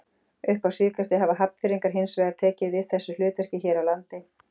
Upp á síðkastið hafa Hafnfirðingar hins vegar tekið við þessu hlutverki hér á landi.